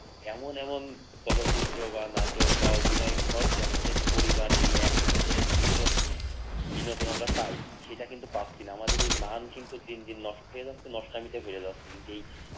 এমন এমন চলচ্চিত্র বা নাটক বা অভিনয় কর যার সাথে পরিবার নিয়ে একসাথে একটা সুস্থ বিনোদন আমরা পাই সেটা কিন্তু আমরা পাচ্ছি না আমাদের মান কিন্তু দিন দিন নষ্ট হয়ে যাচ্ছে নষ্টামিতে বেড়ে যাচ্ছে